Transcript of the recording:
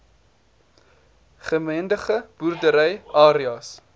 gemengde boerdery areas